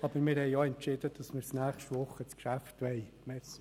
Aber wir haben entschieden, dass wir das Geschäft nächste Woche beraten wollen.